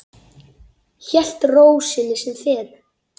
Hélt ró sinni sem fyrr.